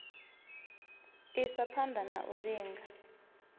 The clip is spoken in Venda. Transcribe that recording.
isa phana na u linga